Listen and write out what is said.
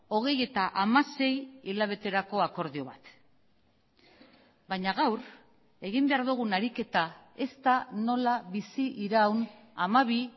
hogeita hamasei hilabeterako akordio bat baina gaur egin behar dugun ariketa ez da nola biziraun hamabi